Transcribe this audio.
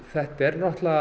það